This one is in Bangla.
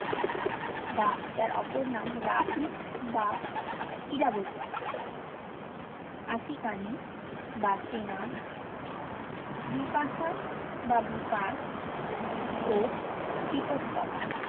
বা যার অপর নাম রাভি বা ইরাবোতি অসিকানি বা চেনাব বিপাসা বা বিপাস ও বিতোস্তোতা